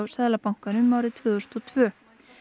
Seðlabankanum árið tvö þúsund og tvö